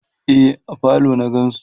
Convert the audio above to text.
e a falo na gansu